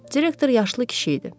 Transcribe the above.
Direktor yaşlı kişi idi.